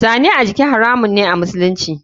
Zane a jiki haramun me a musulunci.